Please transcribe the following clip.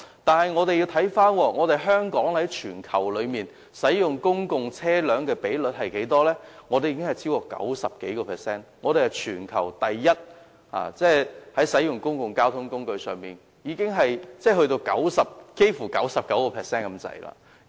但是，我們也要看看香港在全球使用公共車輛的比率，香港已超過 90%， 是全球第一，即香港使用公共車輛的比率幾乎達 99%。